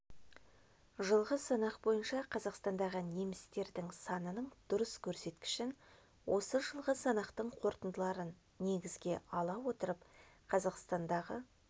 жылғы санақ бойынша қазақстандағы немістердің санының дұрыс көрсеткішін осы жылғы санақтың қорытындыларын негізге ала отырып қазақстандағы